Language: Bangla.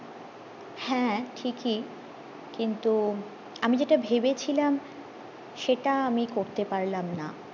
হ্যাঁ ঠিকি কিন্তু আমি যেটা ভেবেছিলাম সেটা আমি করতে পারলাম না